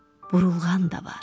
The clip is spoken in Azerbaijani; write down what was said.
burulğan da var.